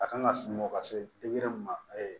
A kan ka sunɔgɔ ka se mun ma